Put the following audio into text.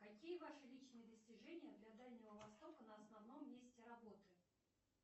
какие ваши личные достижения для дальнего востока на основном месте работы